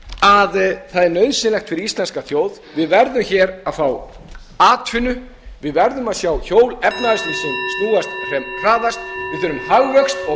að það er nauðsynlegt fyrir íslenska þjóð við verðum að fá atvinnu við verðum að sjá efnahagslífsins snúast sem hraðast við þurfum hagvöxt og